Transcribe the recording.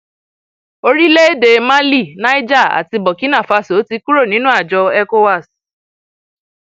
orílẹèdè mali niger àti burkinafáso ti kúrò nínú àjọ ecowas